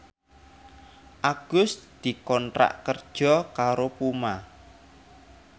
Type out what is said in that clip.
Agus dikontrak kerja karo Puma